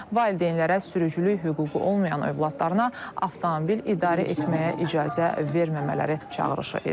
Valideynlərə sürücülük hüququ olmayan övladlarına avtomobil idarə etməyə icazə verməmələri çağırışı edilib.